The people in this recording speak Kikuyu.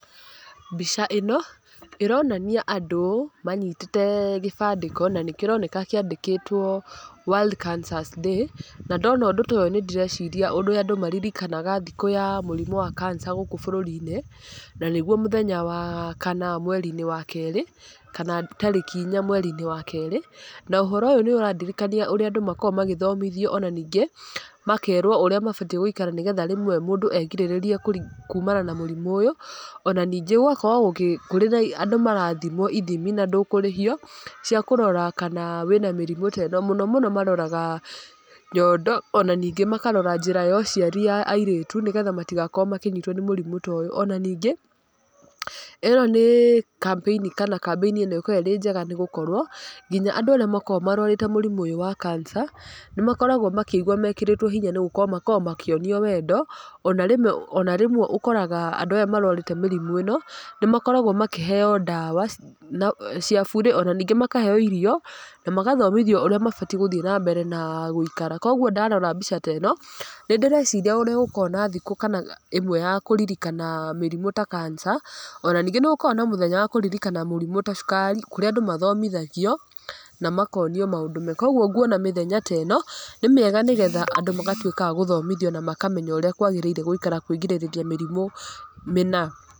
Mbica ĩno ĩronania andũ manyitĩte gĩbandĩko, na nĩ kĩroneka kĩandĩkĩtwo world cancer's day, na ndona ũndũ ta ũyũ nĩ ndĩreciria ũrĩa andũ maririkanaga thikũ ya mũrimũ wa cancer gũkũ bũrũri-inĩ, na nĩguo mũthenya wa wakana mweri-inĩ wa kerĩ kana tarĩki inya mweri-inĩ wa kerĩ, na ũhoro ũyũ nĩ ũrandirikania ũrĩa andũ makoragwo magĩthomithio, ona ningĩ makerwo ũrĩa mabatiĩ gũikara nĩgetha rĩmwe mũndũ erigĩrĩrie kumana na mũrimũ ũyũ, ona rĩngĩ gũgakorwo kũrĩ na andũ marathimwo ithimi na ndũkũrĩhio cia kũrora kana wĩna mĩrimũ ta ĩno ,mũno mũno maroraga nyondo, ona ningĩ makarora njĩra ya ũciari ya airĩtu nĩgetha matigakorwo makĩnyitwo nĩ mũrimũ ta ũyũ, ona ningĩ ĩno nĩ kambĩni kana kambĩni ĩno ĩkoragwo ĩrĩ njega nĩgũkorwo nginya andũ arĩa makoragwo marwarĩte mũrimũ ũyũ wa cancer , nĩ makoragwo makĩigua mekĩrĩtwo hinya nĩ gũkorwo makoragwo makĩonio wendo, ona rĩmwe ũkoraga andũ aya marwarĩte mĩrimũ ĩno nĩ makoragwo makĩheyo ndawa cia buri, ona ningĩ makaheyo irio, na magathomithio ũrĩa mabatiĩ gũthiĩ na mbere na gũikara, koguo ndarora mbica ta ĩno nĩ ndĩreciria ũrĩa gũkoragwo na thikũ kama ĩmwe ya kũririkana mĩrimũ ta cancer , ona ningĩ nĩ gũkoragwo na mũthenya wa kũririkana mũrimũ ta cukari kũrĩa andũ mathomithagio, na makonio maũndũ mega, koguo nguona mĩthenya ta ĩno nĩ mĩega nĩgetha andũ magatuika agũthomithio na makamenya ũrĩa kwagĩrĩire gũikara kwĩrigĩrĩria mĩrimũ mĩna.